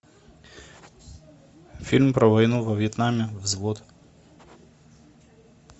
фильм про войну во вьетнаме взвод